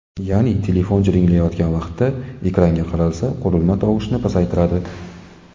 Ya’ni telefon jiringlayotgan vaqtda ekranga qaralsa, qurilma tovushni pasaytiradi.